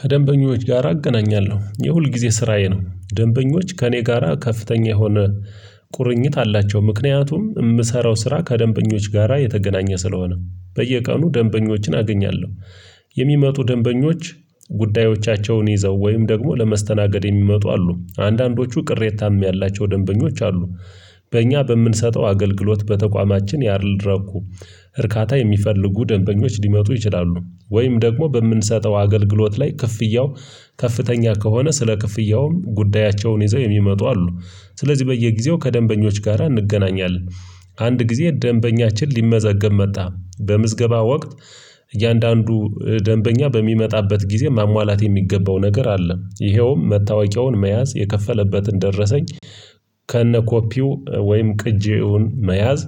ከደንበኞች ጋር አገናኛለሁ የሁልጊዜ ስራዬ ነው። ደንበኞች ከእኔ ጋራ ከፍተኛ የሆነ ቁርኝት አላቸው። ምክንያቱም የምሰራው ስራ ከደንበኞች ጋራ የተገናኘ ስለሆነ በየቀኑ ደንበኞችን አገኛለሁ። የሚመጡ ደንበኞች ጉዳዮቻቸውን ይዘው ወይም ደግሞ ለመስተናገድ የሚመጡ አሉ አንዳንዶቹ ቅሬታም ያላቸው ደንበኞች አሉ። በእኛ በምንሰጠው አገልግሎት በተቋማችን ያልረኩ እርካታ የሚፈልጉ ደንበኞች ሊመጡ ይችላሉ። ወይም ደግሞ በምንሰጠው አገልግሎት ላይ ክፍያው ከፍተኛ ከሆነ ስለ ክፍያውም ጉዳያቸውን ይዘው የሚመጡ አሉ። ስለዚህ በየጊዜው ከደንበኞች ጋራ እንገናኛለን። አንድ ጊዜ ደንበኛችን ሊመዘገብ መጣ በምዝገባ ወቅት። እያንዳንዱ ደንበኛ በሚመጣበት ጊዜ ማሟላት የሚገባው ነገር አለ። ይኸውም መታወቂያውን መያዝ የከፈለበትን ደረሰኝ ከነ ኮፒው ወይም ቅጂውን መያዝ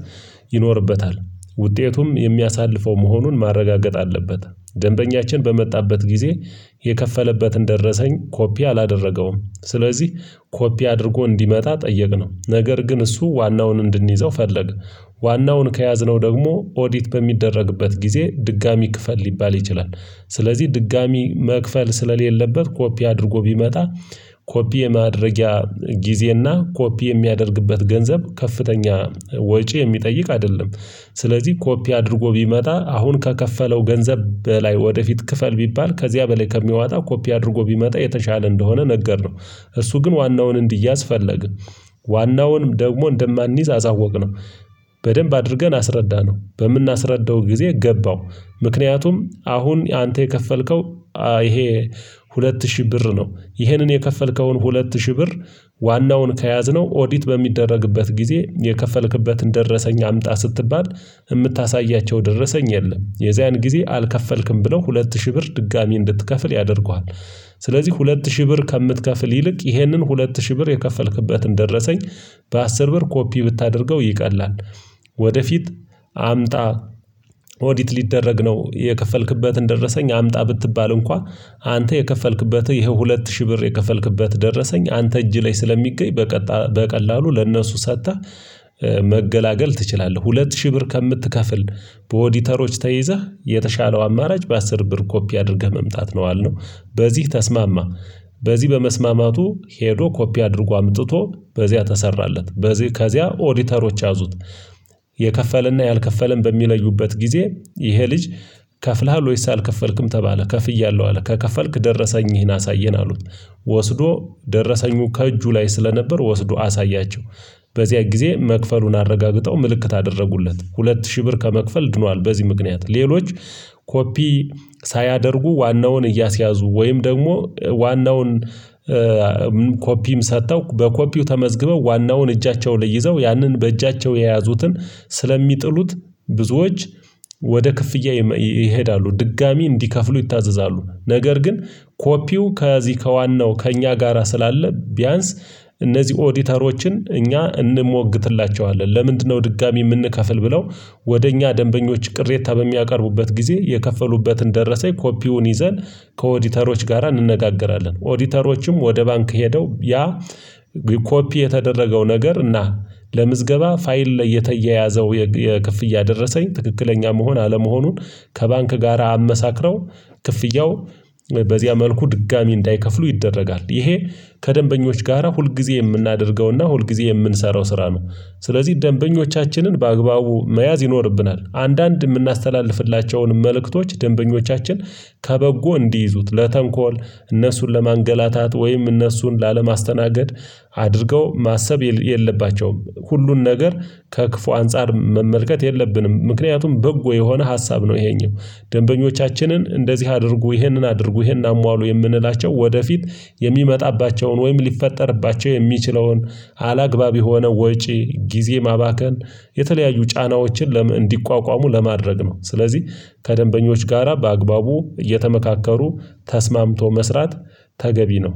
ይኖርበታል። ውጤቱም የሚያሳልፈው መሆኑን ማረጋገጥ አለበት። ደንበኛችን በመጣበት ጊዜ የከፈለበትን ደረሰኝ ኮፒ አላደረገውም ስለዚህ ኮፒ አድርጎ እንዲመጣ ጠየቅነው ነገር ግን እሱ ዋናውን እንድንይዘው ፈለገ። ዋናውን ከያዝነው ደግሞ ኦዲት በሚደረግበት ጊዜ ድጋሚ ክፈል ሊባል ይችላል። ስለዚህ ድጋሚ መክፈል ስለሌለበት ኮፒ አድርጎ ቢመጣ ኮፒ የማድረጊያ ጊዜና ኮፒ የሚያደርግበት ገንዘብ ከፍተኛ ወጪ የሚጠይቅ አይደለም። ስለዚህ ኮፒ አድርጎ ቢመጣ አሁን ከከፈለው ገንዘብ በላይ ወደፊት ክፈል ቢባል ከዚያ በላይ ከሚያወጣ ኮፒ አድርጎ ቢመጣ የተሻለ እንደሆነ ነገርነው። እሱ ግን ዋናውን እንዲያዝ ፈለግ። ዋናውን ደግሞ እንደማንይዝ አሳወቅነው። በደንብ አድርገን አስረዳነው በምናስረዳው ጊዜ ገባው። ምክንያቱም አሁን አንተ የከፈልከው ይሄ ሁለት ሺህ ብር ነው። ይሄንን የከፈልከውን ሁለት ሺህ ብር ዋናውን ከያዝነው ኦዲት በሚደረግበት ጊዜ የከፈልክበትን ደረሰኝ አምጣ ስትባል የምታሳያቸው ደረሰኝ የለም የዚያን ጊዜ አልከፈልክም ብለው ሁለት ሺህ ብር ድጋሚ እንድትከፍል ያደርጉሃል። ስለዚህ ሁለት ሺህ ብር ከምትከፍል ይልቅ ይህንን ሁለት ሺህ ብር የከፈልክበትን ደረሰኝ በአስር ብር ኮፒ ብታደርገው ይቀላል። ወደፊት አምጣ ኦዲት ሊደረግ ነው። የከፈልክበትን ደረሰኝ አምጣ ብትባል እንኳን አንተ የከፈልክበትን ይሄ ሁለት ሺህ ብር የከፈልክበት ደረሰኝ አንተ እጅ ላይ ስለሚገኝ በቀላሉ ለእነሱ ሰጥተህ መገላገል ትችላለህ። ሁለት ሺህ ብር ከምትከፍል በኦዲተሮች ተይዘህ የተሻለው አማራጭ በአስር ብር ኮፒ አድርገህ መምጣት ነው አልነው። በዚህ ተስማማ። በዚህ በመስማማቱ ሄዶ ኮፒ አድርጎ አምጥቶ በዚያ ተሰራለት በዚህ ከዚያ ኦዲተሮች ያዙት። የከፈለና ያልከፈለን በሚለዩበት ጊዜ ይሄ ልጅ ከፍለሃል ወይስ አልከፈልክም ተባለ ከፍያለሁ አለ ከከፈልክ ደረሰኝህን አሳየን አሉት። ወስዶ ደረሰኙ ከእጁ ላይ ስለነበር ወስዶ አሳያቸው። በዚያ ጊዜ መክፈሉን አረጋግጠው ምልክት አደረጉለት ሁለት ሺህ ብር ከመክፈል ድኗል። በዚህ ምክንያት ሌሎች ኮፒ ሳያደርጉ ዋናውን እያስያዙ ወይም ደግሞ ዋናውን ኮፒም ሰጥተው በኮፒው ተመዝግበው ዋናውን እጃቸው ላይ ይዘው ያንን በእጃቸው የያዙትን ስለሚጥሉት ብዙዎች ወደ ክፍያ ይሄዳሉ። ድጋሚ እንዲከፍሉ ይታዘዛሉ ነገር ግን ኮፒው ከዚህ ከዋናው ከእኛ ጋራ ስላለ ቢያንስ እነዚህ ኦዲተሮችን እኛ እንሞግትላቸዋለን። ለምንድነው? ድጋሚ የምንከፍል ብለው። ወደ እኛ ደንበኞች ቅሬታ በሚያቀርቡበት ጊዜ የከፈሉበትን ደረሰኝ ኮፒውን ይዘን ከኦዲተሮች ጋራ እንነጋገራለን። ኦዲተሮችም ወደ ባንክ ሄደው ያ ኮፒ የተደረገው ነገር እና ለምዝገባ ፋይል ላይ የተያያዘው የክፍያ ደረሰኝ ትክክለኛ መሆን አለመሆኑን ከባንክ ጋራ አመሳክረው ክፍያው በዚያ መልኩ ድጋሚ እንዳይከፍሉ ይደረጋል። ይሄ ከደንበኞች ጋራ ሁልጊዜ የምናደርገውና ሁልጊዜ የምንሰራው ስራ ነው። ስለዚህ ደንበኞቻችንን በአግባቡ መያዝ ይኖርብናል። አንዳንድ የምናስተላልፍላቸውን መልእክቶች ደንበኞቻችን ከበጎ እንዲይዙት ለተንኮል እነሱን ለማንገላታት ወይም እነሱን ላለማስተናገድ አድርገው ማሰብ የለባቸውም። ሁሉን ነገር ከክፉ አንፃር መመልከት የለብንም። ምክንያቱም በጎ የሆነ ሀሳብ ነው። ይሄኛው ደንበኞቻችንን እንደዚህ አድርጉ ይህንን አድርጉ ይህን አሟሉ የምንላቸው ወደፊት የሚመጣባቸውን ወይም ሊፈጠርባቸው የሚችለውን አላግባብ የሆነ ወጪ ጊዜ ማባከን የተለያዩ ጫናዎችን እንዲቋቋሙ ለማድረግ ነው። ስለዚህ ከደንበኞች ጋራ በአግባቡ እየተመካከሩ ተስማምቶ መስራት ተገቢ ነው